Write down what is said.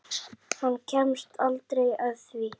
Hann kemst aldrei að því.